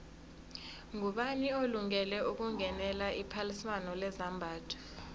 ngubani olungele ukungenela iphaliswano lezambatho